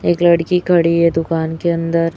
एक लड़की खड़ी है दुकान के अंदर--